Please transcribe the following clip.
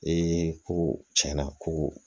Ee ko tiɲɛna ko